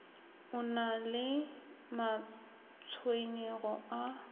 o na le matshwenyego a